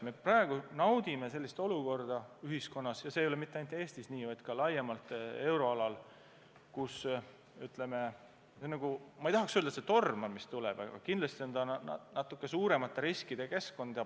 Me praegu naudime olukorda – ja mitte ainult Eestis, vaid ka laiemalt euroalal –, kus, ütleme, ma ei tahaks öelda, et torm on tulemas, aga kindlasti on peagi tegu suuremate riskide keskkonnaga.